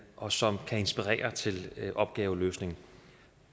og som kan inspirere til opgaveløsning